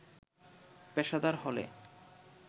পেশাদার হলে